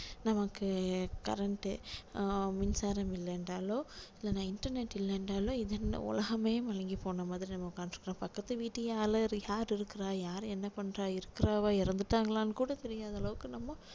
நமக்கு current ஆ மின்சாரம் இல்ல என்றாலோ இல்ல இன்டர்நெட் இல்ல என்றாலோ உலகமே மழுங்கி போன மாதிரி நம்ம உட்கார்ந்து பக்கத்து வீட்டு அலறி யார் இருக்குறா யாரு என்ன பண்றா இருக்குறாவா இறந்துட்டாங்களான்னு கூட தெரியாத அளவுக்கு நம்ம